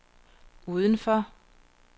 udenfor